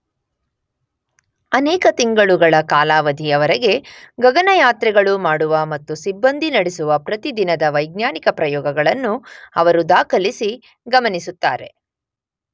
ಅನೇಕ ತಿಂಗಳುಗಳ ಕಾಲಾವಧಿಯ ವರೆಗೆ ಗಗನಯಾತ್ರೆಗಳು ಮಾಡುವ ಮತ್ತು ಸಿಬ್ಬಂದಿ ನಡೆಸುವ ಪ್ರತಿ ದಿನದ ವೈಜ್ಞಾನಿಕ ಪ್ರಯೋಗಗಳನ್ನು ಅವರು ದಾಖಲಿಸಿ ಗಮನಿಸುತ್ತಾರೆ.